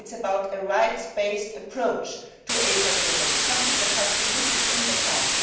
It is about a rights based approach to HIV and AIDS, something that has been missing in the past.